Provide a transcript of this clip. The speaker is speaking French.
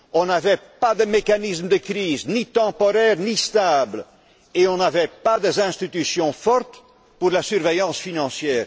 Il n'y avait pas de mécanisme de crise, ni temporaire ni stable, et il n'y avait pas d'institutions fortes pour la surveillance financière.